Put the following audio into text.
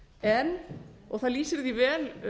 en og það lýsir því vel